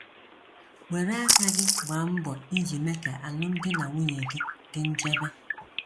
Were aka gị gbaa mbọ iji mee ka alụmdi na nwunye gị dị nchebe.